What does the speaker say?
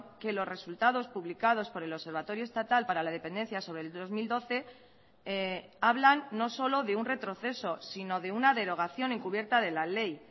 que los resultados publicados por el observatorio estatal para la dependencia sobre el dos mil doce hablan no solo de un retroceso sino de una derogación encubierta de la ley